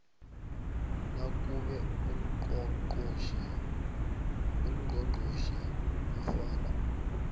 nakube ungqongqotjhe nofana